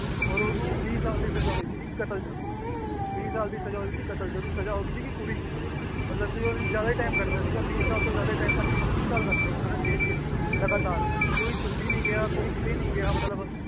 ਔਰ ਉਹਨੂੰ ਵੀਹ ਸਾਲ ਦੀ ਸਜ਼ਾ ਹੋਈ ਸੀ ਕਤਲ ਚ, ਵੀਹ ਸਾਲ ਦੀ ਸਜ਼ਾ ਹੋਈ ਸੀ ਕਤਲ ਚ, ਉਹਦੀ ਸਜ਼ਾ ਹੋ ਗਈ ਸੀ ਪੂਰੀ, ਮਤਲਬ ਕਿ ਉਹਨੇ ਜ਼ਿਆਦਾ ਹੀ time ਕੱਟ ਦਿੱਤਾ ਸੀਗਾ ਵੀਹ ਸਾਲ ਤੋਂ ਜ਼ਿਆਦਾ ਹੀ time ਪੱਚੀ ਤੀਹ ਸਾਲ ਕੱਟ ਦਿੱਤੇ ਉਹਨਾਂ ਨੇ ਜੇਲ੍ਹ ਜੇਲ੍ਹ ਚ ਲਗਾਤਾਰ ਕੋਈ ਛੁੱਟੀ ਨੀ ਗਿਆ ਕੋਈ ਕਿਤੇ ਨੀ ਗਿਆ ਮਤਲਬ